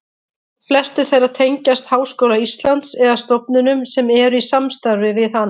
Flestir þeirra tengjast Háskóla Íslands eða stofnunum sem eru í samstarfi við hann.